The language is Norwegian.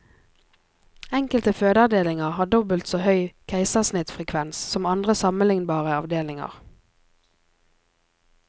Enkelte fødeavdelinger har dobbelt så høy keisersnittfrekvens som andre sammenlignbare avdelinger.